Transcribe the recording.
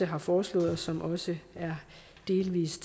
har foreslået og som også delvis